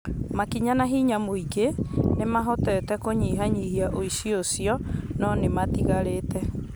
Makinya na hinya nyingĩ nĩmahotete kũnyihanyihia ũici ũcio nŏ nĩũtigarĩte.